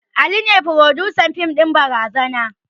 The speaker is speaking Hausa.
Ali ne frodusan fim ɗin barazana